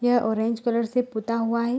ये orange colour से पोता हुआ है।